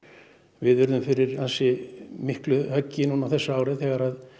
við urðum fyrir ansi miklu höggi á þessu ári þegar